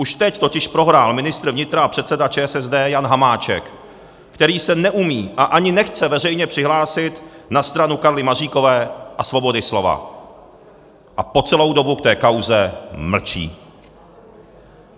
Už teď totiž prohrál ministr vnitra a předseda ČSSD Jan Hamáček, který se neumí a ani nechce veřejně přihlásit na stranu Karly Maříkové a svobody slova a po celou dobu v té kauze mlčí.